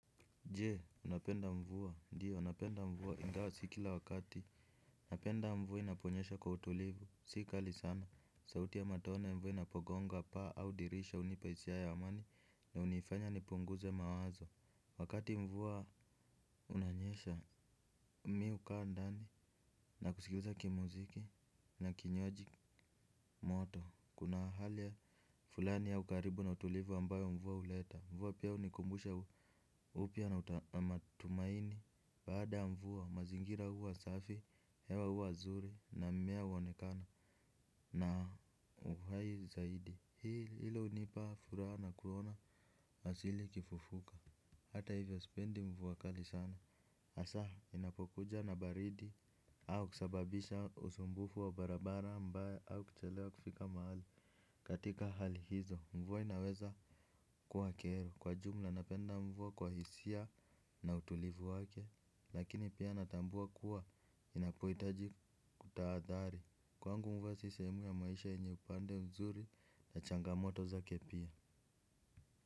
Je, unapenda mvua, ndio napenda mvua ingawa si kila wakati napenda mvua inaponyesha kwa utulivu, si kali sana. Sauti ya matone ya mvua inapogonga paa au dirisha hunipa hisia ya amani. Na hunifanya nipunguze mawazo. Wakati mvua unanyesha mimi hukaa ndani na kusikiliza kimuziki na kinywaji moto. Kuna hali ya fulani ya ukaribu na utulivu ambayo mvua huleta. Mvua pia hunikumbusha upya na matumaini. Baada ya mvua, mazingira huwa safi, hewa huwa zuri, na mimea huonekana na uhai zaidi. Hilo hunipa furaha na kuona, hasili ikifufuka. Hata hivyo sipendi mvua kali sana hasa, inapokuja na baridi au kusababisha usumbufu wa barabara ambae au kuchelewa kufika mahali katika hali hizo. Mvua inaweza kuwa kero. Kwa jumla napenda mvua kwa hisia na utulivu wake. Lakini pia natambua kuwa inapohitaji kutahadhari. Kwangu mvua si sehemu ya maisha yenye upande mzuri na changamoto zake pia.